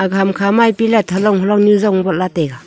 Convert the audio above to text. ham kha pillar halong halong nu zong wala taiga.